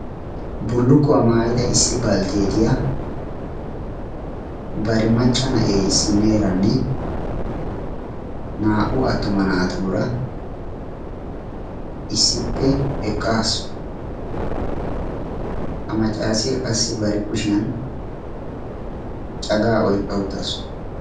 Bullukkuwaa maayida issi baldteetiya bari macca na7ee isineeranne naa"u attuma naatuura issippe eqqaasu ha maccaasiyaa qassi bare kushiyan cagaa oyqqa uttaasu.